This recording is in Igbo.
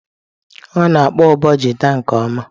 ọ na-akpọ ụbọ gita nke ọma.